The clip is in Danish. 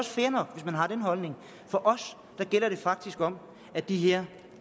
fair nok hvis man har den holdning for os gælder det faktisk om at de her